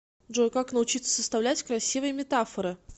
джой как научиться составлять красивые метафоры